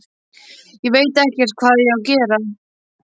Ég veit ekkert hvað ég á að segja.